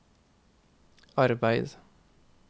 arbeid